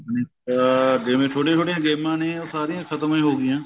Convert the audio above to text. ਤਾਂ ਅਹ ਦੇ ਵੀ ਛੋਟੀਆਂ ਛੋਟੀਆਂ ਗੇਮਾਂ ਨੇ ਉਹ ਸਾਰੀਆਂ ਖਤਮ ਹੋ ਗਈਆਂ